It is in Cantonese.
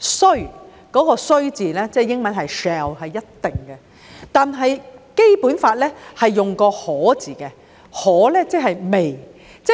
須"中的"須"字，英文是 "shall"， 即是一定的意思，但《基本法》則是用"可"字，即是 "may"。